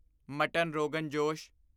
mutton ਰੋਗਾਂ ਜੋਸ਼